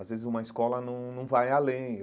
Às vezes uma escola não não vai além.